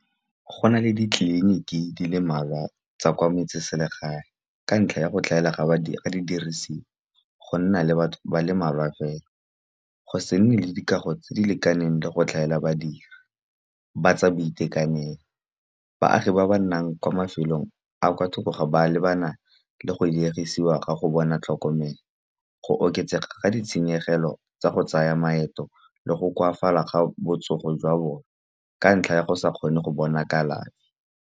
Go na le ditleliniki di le malwa tsa kwa metseselegae, ka ntlha ya go tlhaela ga di dirisi, go nna le batho ba le mmalwa fela. Go se nne le dikago tse di lekaneng le go tlhaela badiri, ba tsa boitekanelo. Baagi ba ba nnang kwa mafelong a kwa thoko ga ba lebana le go diegisiwa ka go bona tlhokomelo. Go oketsega ga ditshenyegelo tsa go tsaya maeto le go koafala ga botsogo jwa bone, ka ntlha ya go sa kgone go bona kalafi.